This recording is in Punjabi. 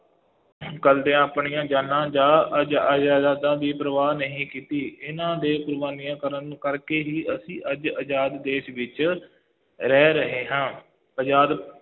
ਕਰਦਿਆਂ ਆਪਣੀਆਂ ਜਾਨਾਂ ਜਾ ਦੀ ਪਰਵਾਹ ਨਹੀਂ ਕੀਤੀ, ਇਹਨਾ ਦੇ ਕੁਰਬਾਨੀਆਂ ਕਰਨ ਕਰਕੇ ਹੀ ਅਸੀਂ ਅੱਜ ਆਜ਼ਾਦ ਦੇਸ਼ ਵਿੱਚ ਰਹਿ ਰਹੇ ਹਾਂ, ਆਜ਼ਾਦ